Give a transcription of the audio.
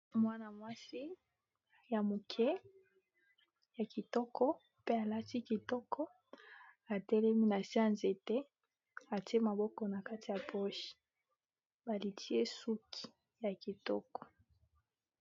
Mwana-mwasi ya moke ya kitoko pe alati kitoko atelemi na se ya nzete atie maboko na kati ya poche balitie suki ya kitoko.